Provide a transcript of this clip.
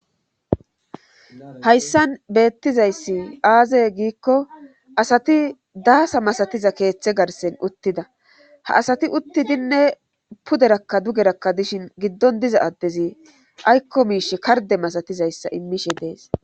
Hayssan beettizayssi aaze giikko asati daasa masatiza keethe garssen uttida ha asati uttidinne puderekka dugerakka dishin giddon diza addezi aykko miishi kardde masatizayssa immishe dees.